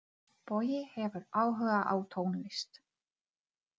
Bogi hefur áhuga á tónlist.